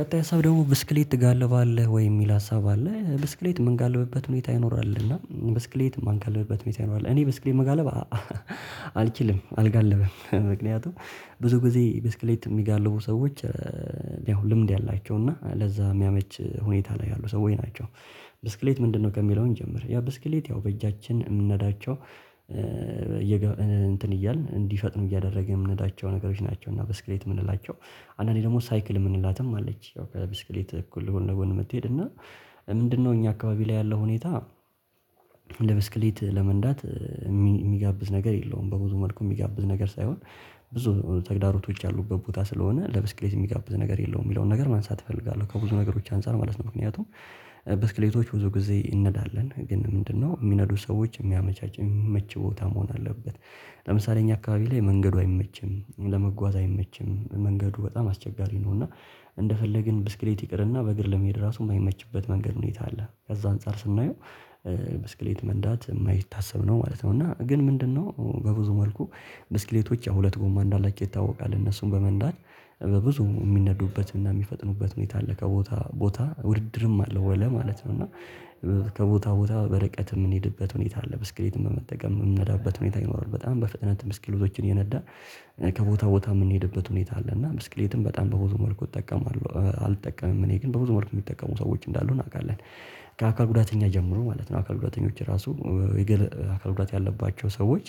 ቀጣይ ሀሳብ ደግሞ ብስክሌት ትጋልባለህ ወይ የሚል ሀሳብ አለ ብስክሌት ምን ካለበበት ሁኔታ ይኖራል እና ብስክሌት ማን ካለበበት ሁኔታ ይኖራል። እኔ ብስክሌት መጋለብ አልችልም። አልጋልብም ምክንያቱም ብዙ ጊዜ ብስክሌት የሚጋልቡ ሰዎች ያው ልምድ ያላቸው እና ለዛ የሚያመች ሁኔታ ላይ ያሉ ሰዎች ናቸው። ብስክሌት ምንድነው ከሚለው እንጀምር። ያ ብስክሌት ያው በእጃችን የምናዳቸው እንትን እያልን እንዲፈጥን እያደረግን የምንላቸው ነገሮች ናቸው። እና በስክሌት የምንላቸው አንዳንዴ ደግሞ ሳይክል የምንላትም አለች። ያው ከብስክሌት እኩል ጎን ለጎን የምትሄድ እና ምንድነው እኛ አካባቢ ላይ ያለው ሁኔታ? ለብስክሌት ለመንዳት የሚጋብዝ ነገር የለውም። በብዙ መልኩ የሚጋብዝ ነገር ሳይሆን ብዙ ተግዳሮቶች ያሉበት ቦታ ስለሆነ ለብስክሌት የሚጋብዝ ነገር የለውም የሚለውን ነገር ማንሳት እፈልጋለሁ። ከብዙ ነገሮች አንፃር ማለት ነው። ምክንያቱም ብስክሌቶች ብዙ ጊዜ እንነዳለን ግን ምንድነው የሚነዱ ሰዎች የሚያመቻች የሚመች ቦታ መሆን አለበት። ለምሳሌ እኛ አካባቢ ላይ መንገዱ አይመችም ለመጓዝ አይመችም መንገዱ በጣም አስቸጋሪ ነው። እና እንደፈለግን ብስክሌት ይቅርና በእግር ለመሄድ ራሱ የማይመችበት መንገድ ሁኔታ አለ። ከዛ አንፃር ስናየው ብስክሌት መንዳት የማይታሰብ ነው ማለት ነው። እና ግን ምንድነው በብዙ መልኩ ብስክሌቶች ያ ሁለት ጎማ እንዳላቸው ይታወቃል። እነሱን በመንዳት በብዙ የሚነዱበትና የሚፈጥኑበት ሁኔታ አለ ከቦታ ቦታ ውድድርም አለ ወላ ማለት ነው። እና ከቦታ ቦታ በርቀት የምንሄድበት ሁኔታ አለ ብስክሌትም በመጠቀም የምንነዳበት ሁኔታ ይኖራል። በጣም በፍጥነት ብስክሌቶችን የነዳ ከቦታ ቦታ የምንሄድበት ሁኔታ አለ። እና ብስክሌትም በጣም በብዙ መልኩ እጠቀማለሁ አልጠቀምም እኔ ግን በብዙ መልኩ የሚጠቀሙ ሰዎች እንዳሉ እናውቃለን። ከአካል ጉዳተኛ ጀምሮ ማለት ነው። አካል ጉዳተኞች ራሱ የግል ጉዳት ያለባቸው ሰዎች።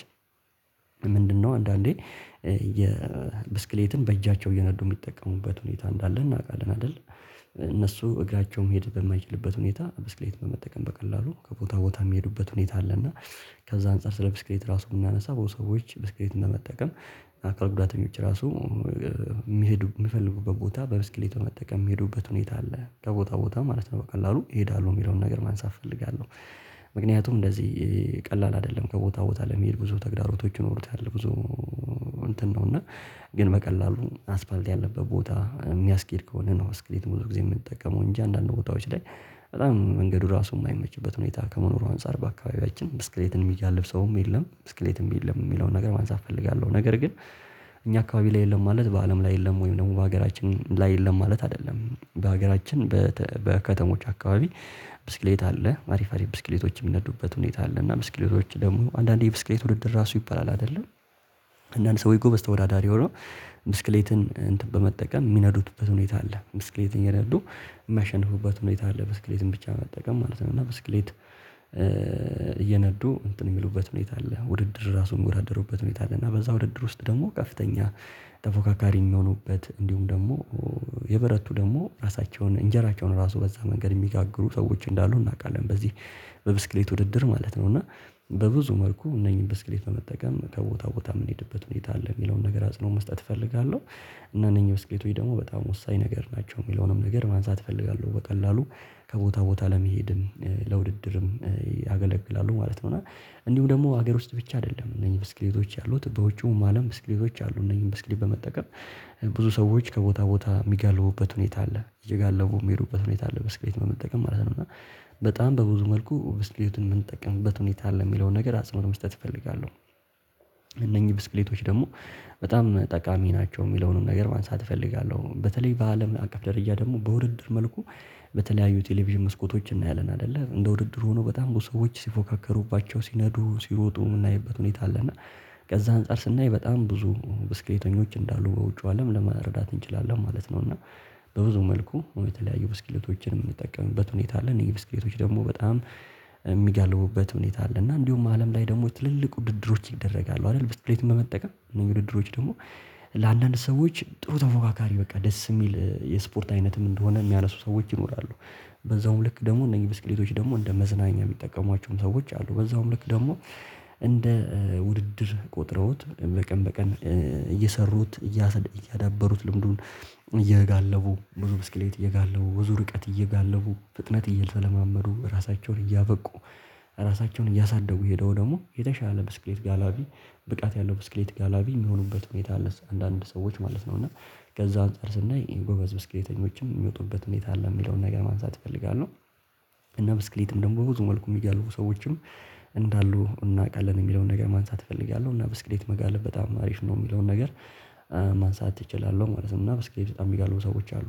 ለምንድነው አንዳንዴ የብስክሌትን በእጃቸው እየነዱ የሚጠቀሙበት ሁኔታ እንዳለ እናውቃለን አይደል? እነሱ እግራቸውም መሄደ በማይችልበት ሁኔታ ብስክሌት በመጠቀም በቀላሉ ከቦታ ቦታ የሚሄዱበት ሁኔታ አለ። እና ከዛ አንፃር ስለ ብስክሌት ራሱ ብናነሳ አብዛኛው ሰዎች ብስክሌት በመጠቀም አካል ጉዳተኞች ራሱ የሚሄዱ የሚፈልጉበት ቦታ በብስክሌቱ መጠቀም የሚሄዱበት ሁኔታ አለ። ከቦታ ቦታ ማለት ነው በቀላሉ ይሄዳሉ የሚለውን ነገር ማንሳት እፈልጋለሁ። ምክንያቱም እንደዚህ ቀላል አይደለም ከቦታ ቦታ ለመሄድ ብዙ ተግዳሮቶች ይኖሩታል። ብዙ እንትን ነው እና ግን በቀላሉ አስፋልት ያለበት ቦታ የሚያስኬድ ከሆነ ነው። ስክሪት ብዙ ጊዜ የምንጠቀመው እንጂ አንዳንድ ቦታዎች ላይ በጣም መንገዱ ራሱ የማይመችበት ሁኔታ ከመኖሩ አንፃር በአካባቢያችን ብስክሌትን የሚጋልብ ሰውም የለም። ብስክሌትም የለም የሚለውን ነገር ማንሳት እፈልጋለሁ። ነገር ግን እኛ አካባቢ ላይ የለም ማለት በአለም ላይ የለም ወይም ደግሞ በሀገራችን ላይ የለም ማለት አይደለም። በሀገራችን በከተሞች አካባቢ ብስክሌት አለ አሪፍ አሪፍ ብስክሌቶች የሚነዱበት ሁኔታ አለ። እና ብስክሌቶች ደግሞ አንዳንዴ ብስክሌት ውድድር ራሱ ይባላል አይደለ? አንዳንድ ሰው ጎበዝ ተወዳዳሪ ሆነው ብስክሌትን በመጠቀም የሚነዱትበት ሁኔታ አለ። ብስክሌት እየነዱ የሚያሸንፉበት ሁኔታ አለ። ብስክሌትን ብቻ በመጠቀም ማለት ነው። እና በስክሌት እየነዱ እንትን የሚሉበት ምን የት አለ ውድድር ራሱን ሚወዳደሩበት ሁኔታ አለ። እና በዛ ውድድር ውስጥ ደግሞ ከፍተኛ ተፎካካሪ የሚሆኑበት እንዲሁም ደግሞ የበረቱ ደግሞ ራሳቸውን እንጀራቸውን ራሱ በዛ መንገድ የሚጋግሩ ሰዎች እንዳሉ እናውቃለን። በዚህ በብስክሌት ውድድር ማለት ነው። እና በብዙ መልኩ እነኚህን ብስክሌት በመጠቀም ከቦታ ቦታ የምንሄድበት ሁኔታ አለ የሚለውን ነገር አጽኖ መስጠት እፈልጋለሁ። እና እነኚህ ብስኬቶች ደግሞ በጣም ወሳኝ ነገር ናቸው። የሚለውንም ነገር ማንሳት እፈልጋለሁ በቀላሉ ከቦታ ቦታ ለመሄድን ለውድድርም ያገለግላሉ ማለት ነው። እና እንዲሁም ደግሞ ሀገር ውስጥ ብቻ አይደለም እነዚህ ብስክሌቶች ያሉት በውጪው አለም ብስክሌቶች አሉ። እነዚህን ብስክሌት በመጠቀም ብዙ ሰዎች ከቦታ ቦታ የሚጋለቡበት ሁኔታ አለ። እየጋለቡ የሚሄዱበት ሁኔታ አለ ብስክሌት በመጠቀም ማለት ነው። እና በጣም በብዙ መልኩ ብስክሌትን የምንጠቀምበት ሁኔታ አለ የሚለውን ነገር አጽንኦት መስጠት እፈልጋለሁ። እነኚህ ብስክሌቶች ደግሞ በጣም ጠቃሚ ናቸው የሚለውንም ነገር ማንሳት እፈልጋለሁ። በተለይ በአለም አቀፍ ደረጃ ደግሞ በውድድር መልኩ በተለያዩ ቴሌቪዥን መስኮቶችን እናያለን አይደለ እንደ ውድድር ሆኖ በጣም ብዙ ሰዎች ሲፎካከሩባቸው ሲነዱ ሲሮጡ የምናይበት ሁኔታ አለ። እና ከዛ አንፃር ስናይ በጣም ብዙ ብስክሌተኞች እንዳሉ በውጪው አለም ለመረዳት እንችላለን ማለት ነው። እና በብዙ መልኩ የተለያዩ ብስክሌቶችን የምንጠቀምበት ሁኔታ አለ። እነዚህ ብስክሌቶች ደግሞ በጣም የሚጋልቡበት ሁኔታ አለ። እና እንዲሁም አለም ላይ ደግሞ ትልልቅ ውድድሮች ይደረጋሉ አይደል? ብስክሌት በመጠቀም ውድድሮች ደግሞ ለአንዳንድ ሰዎች ጥሩ ተፎካካሪ በቃ ደስ የሚል የስፖርት አይነትም እንደሆነ የሚያነሱ ሰዎች ይኖራሉ። በዛውም ልክ ደግሞ እነዚህ ብስክሌቶች ደግሞ እንደ መዝናኛ የሚጠቀሟቸውም ሰዎች አሉ። በዛውም ልክ ደግሞ እንደ ውድድር ቆጥረውት በቀን በቀን እየሰሩት ያዳበሩት ልምዱን እየጋለቡ ብዙ ብስክሌት እየጋለቡ ብዙ ርቀት እየጋለቡ ፍጥነት እየተለማመዱ ራሳቸውን እያበቁ ራሳቸውን እያሳደጉ የሄዱ ደግሞ የተሻለ ብስክሌት ጋላቢ ብቃት ያለው ብስክሌት ጋላቢ የሚሆኑበት ሁኔታ አንዳንድ ሰዎች ማለት ነው። እና ከዛ አንፃር ስናይ ጎበዝ ብስክሌተኞች የሚወጡበት ሁኔታ አለ። የሚለውን ነገር ማንሳት እፈልጋለሁ። እና ብስክሌትም ደግሞ ብዙ መልኩ የሚገልፉ ሰዎችም እንዳሉ እናውቃለን የሚለውን ነገር ማንሳት እፈልጋለሁ። እና በ መጋለብ ብስክሌት በጣም አሪፍ ነው። የሚለውን ነገር ማንሳት እችላለሁ ማለት ነው። እና ብስክሌት በጣም የሚጋልቡ ሰዎች አሉ